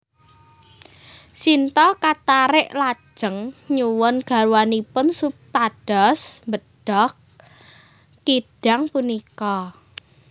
Sinta katarik lajeng nyuwun garwanipun supados mbedhog kidang punika